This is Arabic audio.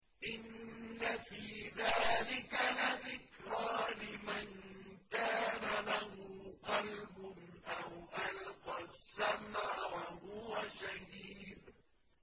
إِنَّ فِي ذَٰلِكَ لَذِكْرَىٰ لِمَن كَانَ لَهُ قَلْبٌ أَوْ أَلْقَى السَّمْعَ وَهُوَ شَهِيدٌ